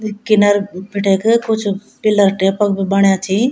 यी किनर बिटिक कुछ पिलर टैप क भी बण्या छि।